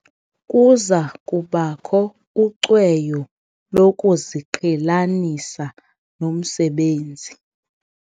Kuza kubakho ucweyo lokuziqhelanisa nomsebenzi.